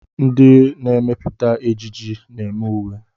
Ndị na-emepụta ejiji na-eme uwe.